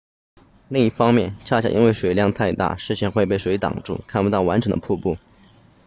另一方面恰恰因为水量太大视线会被水挡住看不到完整的瀑布